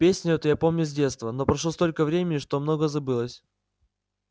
песню эту я помню с детства но прошло столько времени что многое забылось